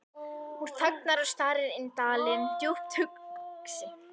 Hún þagnar og starir inn dalinn, djúpt hugsi.